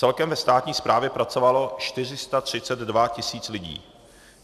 Celkem ve státní správě pracovalo 432 tisíc lidí.